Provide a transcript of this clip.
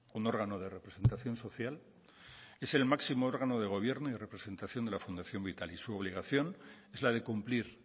un órgano de representación social es el máximo órgano de gobierno y de representación de la fundación vital y su obligación es la de cumplir